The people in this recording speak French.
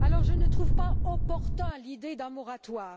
En conséquence, je ne trouve pas opportune l'idée d'un moratoire.